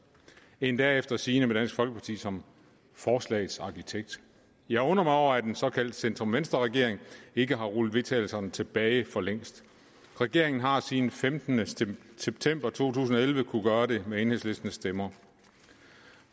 endda efter sigende med dansk folkeparti som forslagets arkitekt jeg undrer mig over at en såkaldt centrum venstre regering ikke har rullet vedtagelserne tilbage for længst regeringen har siden den femtende september to tusind og elleve kunnet gøre det med enhedslistens stemmer